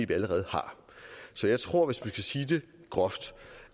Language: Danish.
vi allerede har så jeg tror skal sige det groft